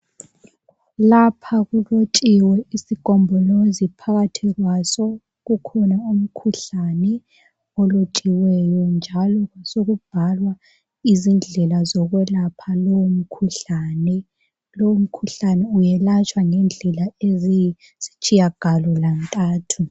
Lapha kulotshiwe isigombolozi phakathi kwaso kukhona umkhuhlane olotshiweyo njalo kwasekubhalwa izindlela zokwelapha lowo mkhuhlane .Lowu mkhuhlane welatshwa ngendlela eziyisitshiyagalontathu.